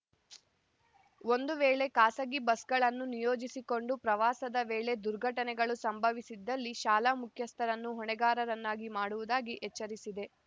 ಒಂದುವೇಳೆ ಖಾಸಗಿ ಬಸ್‌ಗಳನ್ನು ನಿಯೋಜಿಸಿಕೊಂಡು ಪ್ರವಾಸದ ವೇಳೆ ದುರ್ಘಟನೆಗಳು ಸಂಭವಿಸಿದ್ದಲ್ಲಿ ಶಾಲಾ ಮುಖ್ಯಸ್ಥರನ್ನು ಹೊಣೆಗಾರರನ್ನಾಗಿ ಮಾಡುವುದಾಗಿ ಎಚ್ಚರಿಸಿದೆ